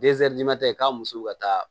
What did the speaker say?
k'a musow ka taa